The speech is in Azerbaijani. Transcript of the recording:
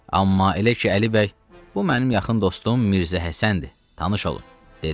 Amma elə ki Əli bəy bu mənim yaxın dostum Mirzə Həsəndir, tanış olun, dedi.